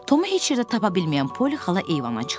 Tomu heç yerdə tapa bilməyən Poli xala eyvana çıxdı.